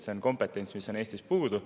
See on kompetents, mis on Eestis puudu.